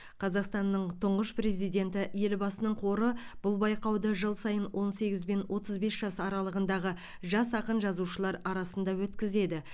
қазақстанның тұңғыш президенті елбасының қоры бұл байқауды жыл сайын он сегіз бен отыз бес жас аралығындағы жас ақын жазушылар арасында өткізеді